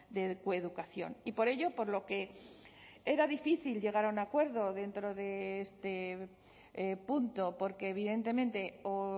de coeducación y por ello por lo que era difícil llegar a un acuerdo dentro de este punto porque evidentemente o